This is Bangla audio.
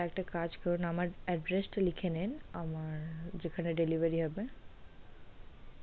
একটা কাজ করুন আমার address টা লিখে নিন আমার যেখানে delivery হবে